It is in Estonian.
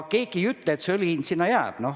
Keegi ei ütle, et õli hind selliseks jääb.